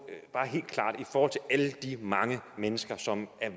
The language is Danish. de mange mennesker som er